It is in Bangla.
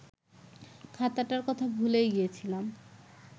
খাতাটার কথা ভুলেই গিয়েছিলাম